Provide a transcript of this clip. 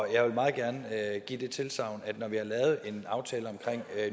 jeg vil meget gerne give det tilsagn at når vi har lavet en aftale om